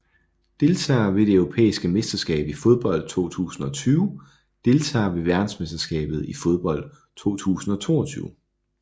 Deltagere ved det europæiske mesterskab i fodbold 2020 Deltagere ved verdensmesterskabet i fodbold 2022